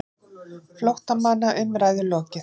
FLÓTTAMANNA UMRÆÐU LOKIÐ